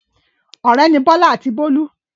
Ọ̀rẹ́ ni Bọ́lá àti Bólú.